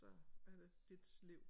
Så er det dit liv